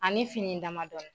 A ni fini dama dɔɔnin